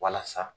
Walasa